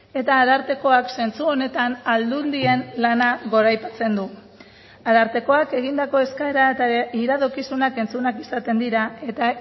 eta arartekoak zentzu honetan aldundien lana goraipatzen du arartekoak egindako eskaera eta iradokizunak entzunak izaten dira eta